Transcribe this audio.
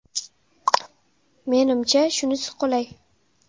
Menimcha, shunisi qulay.